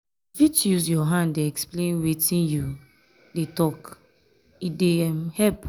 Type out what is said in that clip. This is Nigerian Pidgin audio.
you fit use your hand dey explain wetin you um dey tok e dey um help. um